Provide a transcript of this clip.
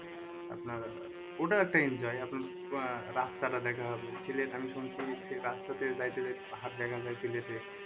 আপনার ওটাও একটা enjoy আপনার আহ রাস্তাটা দেখা হবে সিলেট আমি শুনছি সেই রাস্তাতে যাইতে যাইতে পাহাড় দেখা যাই সিলেটে